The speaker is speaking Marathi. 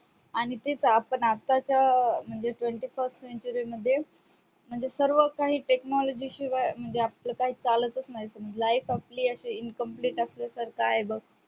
आणि तिथ आपण आताच्या अं म्हणजे twenty first century मध्ये म्हणजे सर्वकांही technology शिवाय म्हणजे आपलं काही चालत नाही life आपली incomplete सारखी आहे बग